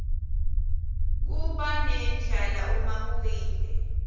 kubanendlala uma uwile